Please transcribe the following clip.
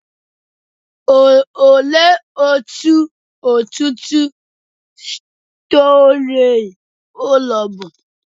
Olee otú ọtụtụ storey ụlọ bụ?